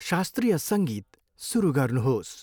शास्त्रीय सङ्गीत सुरु गर्नुहोस्।